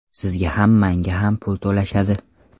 Sizga ham manga ham pul to‘lashadi.